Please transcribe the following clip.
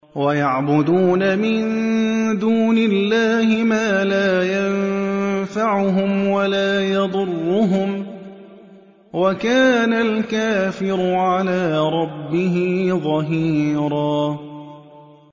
وَيَعْبُدُونَ مِن دُونِ اللَّهِ مَا لَا يَنفَعُهُمْ وَلَا يَضُرُّهُمْ ۗ وَكَانَ الْكَافِرُ عَلَىٰ رَبِّهِ ظَهِيرًا